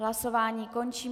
Hlasování končím.